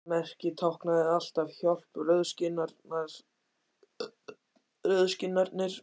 Þetta merki táknaði alltaf: Hjálp, rauðskinnarnir